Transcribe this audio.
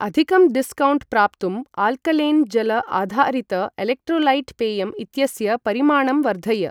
अधिकं डिस्कौण्ट् प्राप्तुं आल्कलेन् जल आधारित एलेक्ट्रोलैट् पेयम् इत्यस्य परिमाणं वर्धय।